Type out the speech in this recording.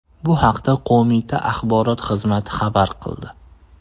Bu haqda Qo‘mita axborot xizmati xabar qildi .